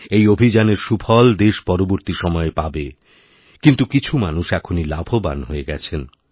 এই অভিযানের সুফল দেশ পরবর্তী সময়ে পাবে কিন্তুকিছু মানুষ এখনই লাভবান হয়ে গেছেন